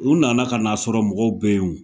U nana kan'a sɔrɔ mɔgɔw be ye o